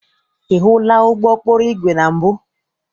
Ị hụla ụgbọ ụkpụrụ igwe na mbụ?